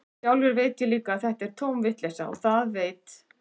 Sjálfur veit ég líka að þetta er tóm vitleysa, og það veit